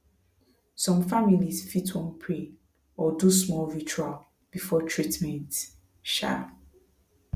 some families fit wan pray or do small ritual before treatment um